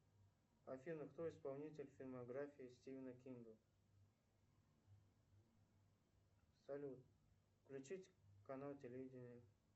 афина кто исполнитель фильмографии стивена кинга салют включить канал телевидения